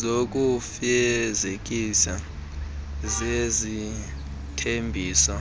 zokufezekisa zezithembiso